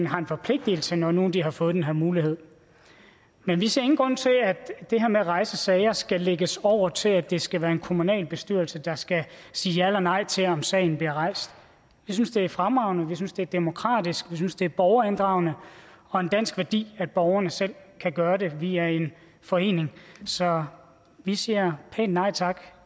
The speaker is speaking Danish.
har en forpligtelse når nu de har fået den her mulighed men vi ser ingen grund til at det her med at rejse sager skal lægges over til at det skal være en kommunalbestyrelse der skal sige ja eller nej til om sagen bliver rejst vi synes det er fremragende vi synes det er demokratisk vi synes det er borgerinddragende og en dansk værdi at borgerne selv kan gøre det via en forening så vi siger pænt nej tak